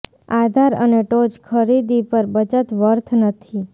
આધાર અને ટોચ ખરીદી પર બચત વર્થ નથી